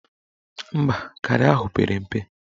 Mba, garị ahụ pere mpe